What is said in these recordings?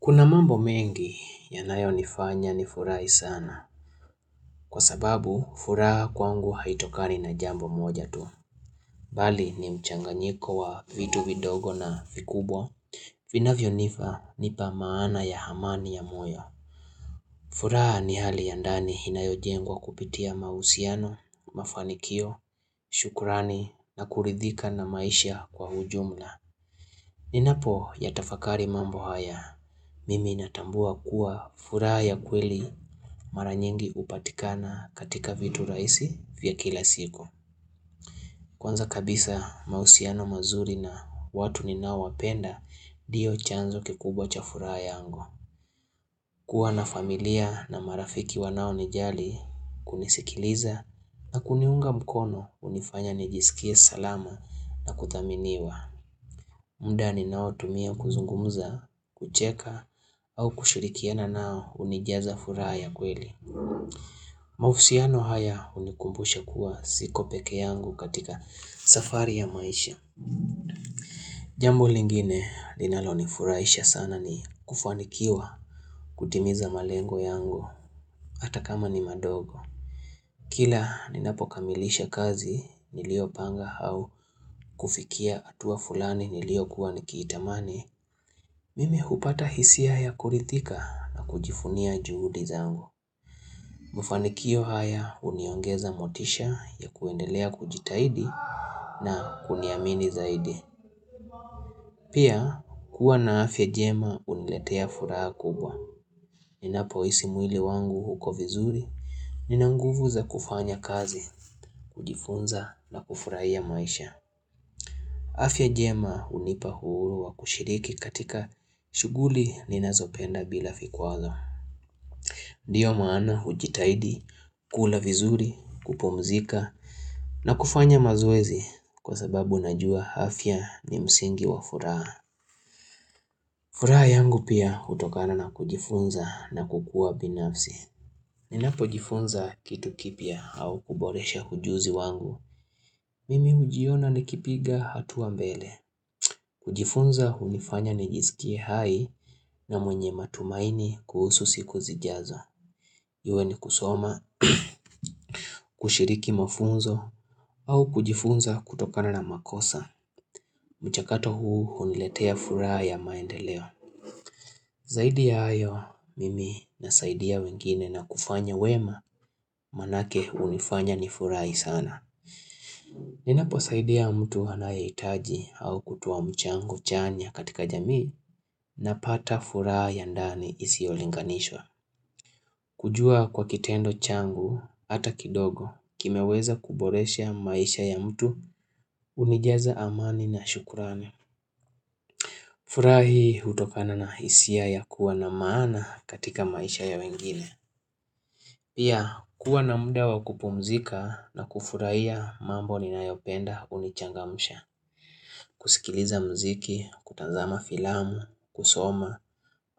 Kuna mambo mengi yanayo nifanya ni furahi sana, kwa sababu furaha kwangu haitokani na jambo moja tu, bali ni mchanganyiko wa vitu vidogo na vikubwa, vinavyo nipa maana ya amani ya moyo. Furaha ni hali ya ndani inayojengwa kupitia mahusiano, mafanikio, shukurani na kuridhika na maisha kwa ujumla. Ninapoyatafakari mambo haya, mimi natambua kuwa furaha ya kweli mara nyingi hupatikana katika vitu raisi vya kila siku. Kwanza kabisa mahusiano mazuri na watu ninao wapenda ndiyo chanzo kikubwa cha furaha yangu. Kuwa na familia na marafiki wanao nijali kunisikiliza na kuniunga mkono hunifanya nijisikie salama na kuthaminiwa. Muda ninao tumia kuzungumza, kucheka au kushurikiana nao hunijaza furaha ya kweli. Mahusiano haya hunikumbusha kuwa siko peke yangu katika safari ya maisha. Jambu lingine linalonifuraisha sana ni kufanikiwa kutimiza malengo yangu hata kama ni madogo. Kila ninapokamilisha kazi niliyo panga au kufikia hatua fulani niliokuwa nikitamani, mimi hupata hisia ya kurithika na kujivunia juhudi zangu. Mafanikio haya huniongeza motisha ya kuendelea kujitahidi na kuniamini zaidi. Pia kuwa na afya jema huniletea furaha kubwa. Ninapo hisi mwili wangu uko vizuri. Ninanguvu za kufanya kazi, kujifunza na kufurahia maisha. Afya jema hunipa uhuru wa kushiriki katika shuguli ninazopenda bila vikwazo. Ndiyo maana hujitahidi, kula vizuri, kupumzika na kufanya mazwezi kwa sababu najua afya ni msingi wa furaha. Furaha yangu pia hutokana na kujifunza na kukua binafsi. Ninapojifunza kitu kipya au kuboresha hujuzi wangu. Mimi hujiona nikipiga hatua mbele. Kujifunza hunifanya nijisikie hai na mwenye matumaini kuhusu siku zijazo. Iwe ni kusoma, kushiriki mafunzo au kujifunza kutokana na makosa. Mchakato huu huniletea furaha ya maendeleo. Zaidi ya hayo, mimi nasaidia wengine na kufanya wema manake hunifanya ni furahi sana. Ninapo saidia mtu anaye hitaji au kutoa mchangu chanya katika jamii napata furaha yandani isiyolinganishwa. Kujua kwa kitendo changu, hata kidogo, kimeweza kuboresha maisha ya mtu, hunijaza amani na shukurani. Furaha hutokana na hisia ya kuwa na maana katika maisha ya wengine. Pia kuwa na muda wakupumzika na kufurahia mambo ninayopenda hunichangamsha. Kusikiliza mziki, kutazama filamu, kusoma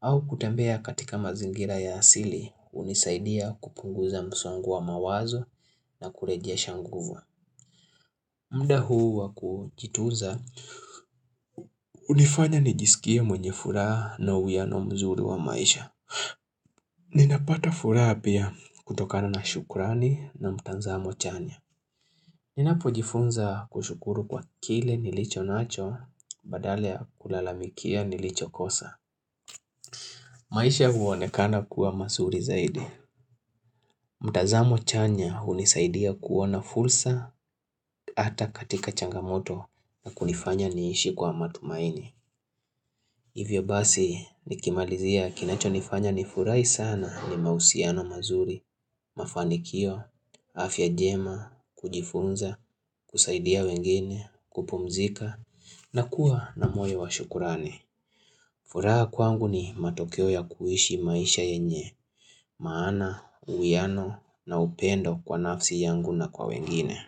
au kutembea katika mazingira ya asili hunisaidia kupunguza msongo wa mawazo na kurejesha nguvu. Muda huu wakujituza hunifanya nijisikie mwenye furaha na uiano mzuru wa maisha. Ninapata furaha pia kutokana na shukrani na mtanzamo chanya. Ninapojifunza kushukuru kwa kile nilicho nacho badale kulalamikia nilicho kosa. Maisha huonekana kuwa mazuri zaidi. Mtanzamo chanya hunisaidia kuona fursa hata katika changamoto na kunifanya niishi kwa matumaini. Hivyo basi nikimalizia kinacho nifanya ni furahi sana ni mahusiano mazuri, mafanikio, afya njema, kujifunza, kusaidia wengine, kupumzika na kuwa na moyo wa shukurani. Furahi kwangu ni matokeo ya kuishi maisha yenye, maana, uwiano na upendo kwa nafsi yangu na kwa wengine.